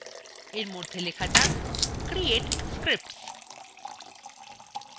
এর মধ্যে লেখা যাক create scripts